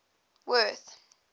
worth